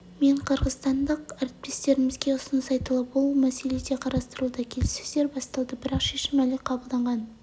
мен қырғызстандық әріптестермізге ұсыныс айтылып ол мәселе де қарастырылуда келіссөздер басталды бірақ шешім әлі қабылданған